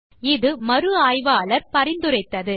இதைத்தான் மறு ஆய்வாளர் பரிந்துரைத்தார்